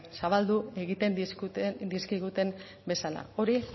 zabaldu egiten dizkiguten bezala hori